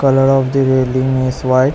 Colour of the building is white.